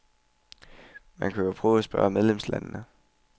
Man kan jo prøve at spørge medlemslandene.